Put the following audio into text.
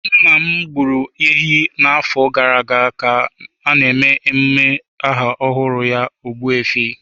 Nna m gburu ehi n'afọ gara aga ka a na-eme emume aha ọhụrụ ya Ogbu efi.